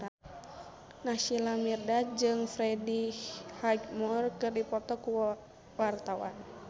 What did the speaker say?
Naysila Mirdad jeung Freddie Highmore keur dipoto ku wartawan